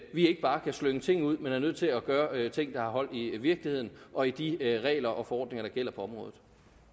ikke bare kan slynge ting ud men er nødt til at gøre ting der har hold i virkeligheden og i de regler og forordninger der gælder på området